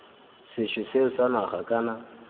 sethwe seo sa naga kana